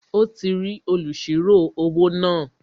Ó ti rí olùsirò-owó náà